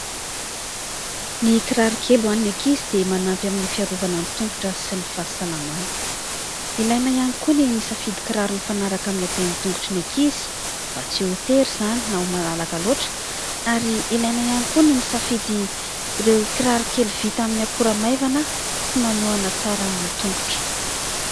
Ny kiraro kely ho an'ny ankizy dia manampy amin'ny fiarovana ny tongotra sy ny fahasalamana. Ilaina ihany koa ny misafidy kiraro mifanaraka amin'ny habean'ny tongotry ny ankizy mba tsy ho tery izany na ho malalaka loatra. Ary ilaina ihany koa ny misafidy ireo kirarokely vita amin'ny akora maivana sy manohana tsara ny tongotra.